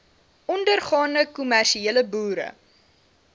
ondergaande kommersiële boere